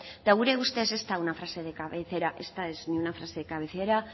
eta gure ustez ez da una frase de cabecera